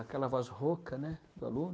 Aquela voz rouca né do aluno.